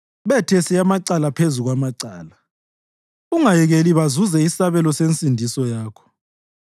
Bethese amacala phezu kwamacala; ungayekeli bazuze isabelo sensindiso yakho.